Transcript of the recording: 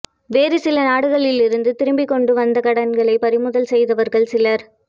வேறு சில நாடுகளிலிருந்து திரும்பக் கொண்டு வந்த கடன்களைப் பறிமுதல் செய்தவர்கள் சிலர்